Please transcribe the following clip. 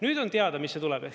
Nüüd on teada, mis see tuleb.